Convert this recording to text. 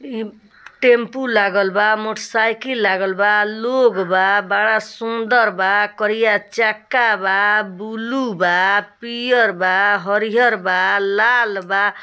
ई टेंपू लागल बा मोटसाइकिल लागल बा लोग बा बड़ा सुंदर बा करिया चक्का बा बुलु बा पियर बा आ हरिहर बा लाल बा ।